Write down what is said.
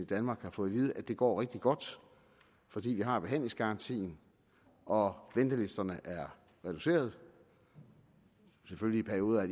danmark fået at vide at det går rigtig godt fordi vi har behandlingsgarantien og ventelisterne er reduceret i perioder har